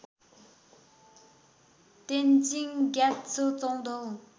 तेन्जिङ ग्यात्सो चौधौँ